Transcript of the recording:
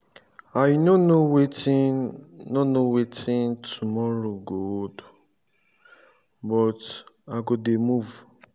i no know wetin no know wetin tomorrow go hold but i go dey move